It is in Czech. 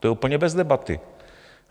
To je úplně bez debaty.